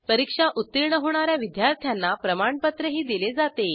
परीक्षा उत्तीर्ण होणा या विद्यार्थ्यांना प्रमाणपत्रही दिले जाते